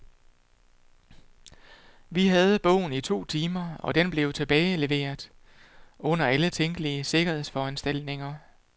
Vi havde bogen i to timer, og den blev tilbageleveret under alle tænkelige sikkerhedsforanstaltninger.